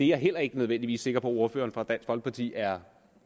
jeg heller ikke nødvendigvis sikker på at ordføreren fra dansk folkeparti er